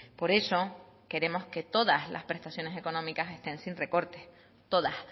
por eso queremos que todas las prestaciones económicas estén sin recorte todas